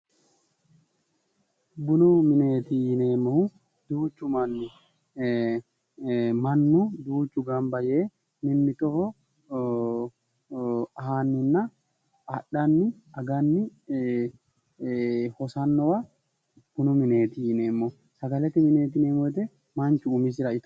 Bunu mineeti yineemmohu mannu gamba yee mimmitoho aanninna ee adhanni aganni hosannowa bunu mineeti yineemmo